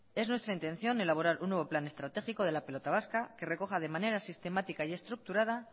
es nuestra intención elaborar un nuevo plan estratégico de la pelota vasca que recoja de manera sistemática y estructurada